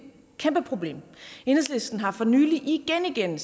kæmpe problem enhedslisten har for nylig igen igen